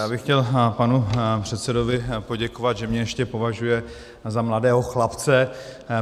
Já bych chtěl panu předsedovi poděkovat, že mě ještě považuje za mladého chlapce.